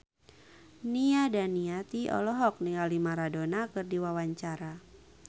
Nia Daniati olohok ningali Maradona keur diwawancara